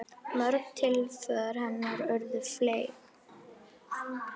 Mörg tilsvör hennar urðu fleyg.